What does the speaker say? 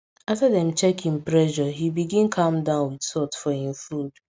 after dem check him pressure he begin calm down with salt for him food